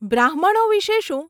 બ્રાહ્મણો વિષે શું?